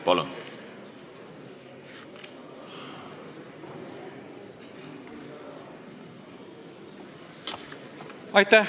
Palun!